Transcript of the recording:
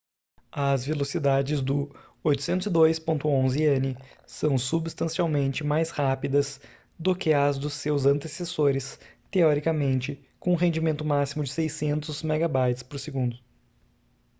as velocidades do 802.11n são substancialmente mais rápidas do que as dos seus antecessores teoricamente com um rendimento máximo de 600 mb/s